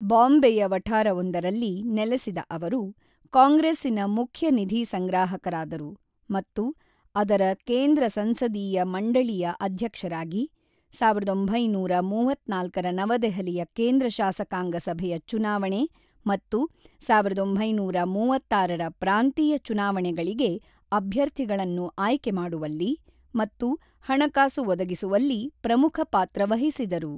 ಬಾಂಬೆಯ ವಠಾರವೊಂದರಲ್ಲಿ ನೆಲೆಸಿದ ಅವರು, ಕಾಂಗ್ರೆಸ್ಸಿನ ಮುಖ್ಯ ನಿಧಿ ಸಂಗ್ರಾಹಕರಾದರು ಮತ್ತು ಅದರ ಕೇಂದ್ರ ಸಂಸದೀಯ ಮಂಡಳಿಯ ಅಧ್ಯಕ್ಷರಾಗಿ, ಸಾವಿರದ ಒಂಬೈನೂರ ಮೂವತ್ತ್ನಾಲ್ಕರ ನವದೆಹಲಿಯ ಕೇಂದ್ರ ಶಾಸಕಾಂಗ ಸಭೆಯ ಚುನಾವಣೆ ಮತ್ತು ಸಾವಿರದ ಒಂಬೈನೂರ ಮೂವತ್ತಾರರ ಪ್ರಾಂತೀಯ ಚುನಾವಣೆಗಳಿಗೆ ಅಭ್ಯರ್ಥಿಗಳನ್ನು ಆಯ್ಕೆ ಮಾಡುವಲ್ಲಿ ಮತ್ತು ಹಣಕಾಸು ಒದಗಿಸುವಲ್ಲಿ ಪ್ರಮುಖ ಪಾತ್ರ ವಹಿಸಿದರು.